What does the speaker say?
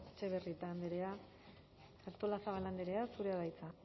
etxebarrieta andrea artolazabal andrea zurea da hitza